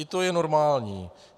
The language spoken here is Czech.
I to je normální.